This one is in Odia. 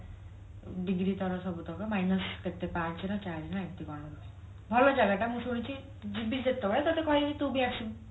degree ତଳେ ସବୁତକ minus କେତେ ପାଞ୍ଚେ ନା ଚାରି ନା ଏମତି କଣ ଗୋଟେ ଭଲ ଜାଗା ଟା ମୁଁ ଶୁଣିଛି ଯିବି ଯେତେବେଳେ ତତେ କହିବି ତୁ ବି ଆସିବୁ